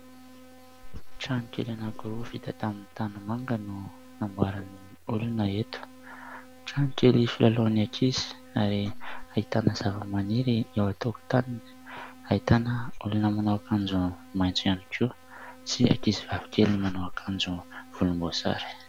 Trano kely anankiroa vita tamin'ny tanimanga no namboarin'olona eto. Trano kely filalaovan'ny ankizy ahitana zavamaniry eo an-tokotaniny, ahitana olona manao akanjo maitso ihany koa sy ankizy vavikely manao akanjo volomboasary.